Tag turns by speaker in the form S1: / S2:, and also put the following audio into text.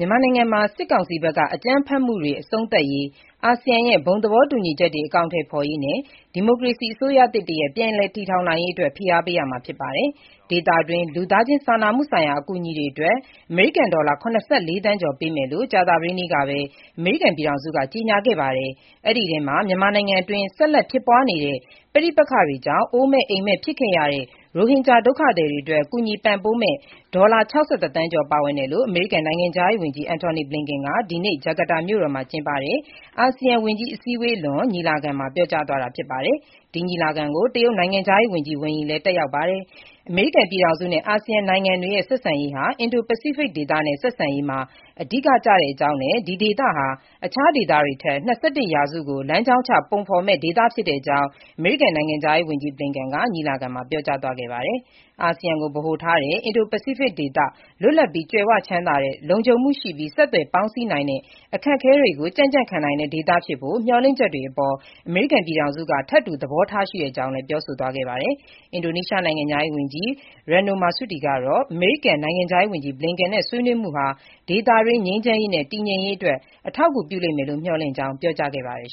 S1: ြန်မာနိုင်ငံမှာ စစ်ကောင်စီဘက်က အကြမ်းဖက်မှုတွေ အဆုံးသတ်ရေး၊ အာဆီယံရဲ့ ဘုံသဘောတူညီချက်တွေ အကောင်အထည်ဖေါ်ရေးနဲ့ ဒီမိုကရေစီ အစိုးရတရပ် ပြန်လည် တည်ထောင်နိုင်ရေး အတွက် ဖိအားပေးရမှာဖြစ်ပါတယ်။ ဒေသတွင်း လူသားချင်းစာနာမှု ဆိုင်ရာ အကူအညီတွေအတွက် အမေရိကန်ဒေါလာ ၇၄ သန်းကျော်ပေးမယ်လို့ ကြာသပတေးနေ့ကပဲ အမေရိကန်ပြည်ထောင်စုက ကြေညာခဲ့ပါတယ်။ အဲဒီအထဲမှာ မြန်မာနိုင်ငံအတွင်း ဆက်လက်ဖြစ်ပွားနေတဲ့ ပဋိပက္ခတွေကြောင့် အိုးမဲ့အိမ်မဲ့ ဖြစ်ခဲ့ရတဲ့ ရိုဟင်ဂျာ ဒုက္ခသည်တွေအတွက် ကူညီပံ့ပိုးမယ့် ဒေါ်လာ ၆၁ သန်းကျော် ပါဝင်တယ်လို့ အမေရိကန် နိုင်ငံခြားရေးဝန်ကြီး Anthony Blinken က ဒီနေ့ ဂျကာတာမြို့တော်မှာ ကျင်းပတဲ့ အာဆီယံယဝန်ကြီးအစည်းအဝေးလွန်ညီလာခံမှာ ပြောကြားသွားတာ ဖြစ်ပါတယ်။ ဒီညီလာခံကို တရုတ်အကြီးတန်းသံတမန် Wang Yi လည်း တက်ရောက်ပါတယ်။ အမေရိကန်ပြည်ထောင်စုနဲ့ အာဆီယံ နိုင်ငံတွေရဲ့ ဆက်ဆံရေးဟာ အင်ဒိုပစိဖိတ်ဒေသနဲ့ ဆက်ဆံရေးမှာ အဓိက ကျတဲ့အကြောင်းနဲ့ ဒီဒေသဟာ တခြားဒေသတွေထက်၂၁ ရာစုကို လမ်းကြောင်းချ ပုံဖေါ်မယ့် ဒေသ ဖြစ်တဲ့အကြောင်း အမေရိကန် နိုင်ငံခြားရေးဝန်ကြီး Blinken ကညီလာခံမှာ ပြောကြားသွားခဲ့ပါတယ်။ အာဆီယံကို ဗဟိုထားတဲ့၊ အင်ဒိုပစိဖိတ်ဒေသ လွတ်လပ်ပြီး ကြွယ်ဝ ချမ်းသာတဲ့၊ လုံခြုံမှု ရှိပြီး ဆက်သွယ်ပေါင်းစည်းနိုင်တဲ့၊ အခက်အခဲတွေကို ကြံ့ကြံ့ခံနိုင်တဲ့ ဒေသဖြစ်ဖို့ မျှော်မှန်းချက်တွေအပေါ် အမေရိကန်ပြည်ထောင်စုက ထပ်တူ သဘောထားရှိတဲ့ အကြောင်း ပြောဆိုသွားပါတယ်။ အင်ဒိုနီးရှားနိုင်ငံခြားရေး ဝန်ကြီး Retno Marsudi ကတော့ အမေရိကန်နိုင်ငံခြားရေးဝန်ကြီး Blinken နဲ့ ဆွေးနွေးမှုဟာ ဒေသတွင်း ငြိမ်းချမ်းရေးနဲ့ တည်ငြိမ်ရေးအတွက် အထောက်အကူဖြစ်မယ်လို့ မျှော်လင့်ကြောင်း ပြောကြားခဲ့ပါတယ်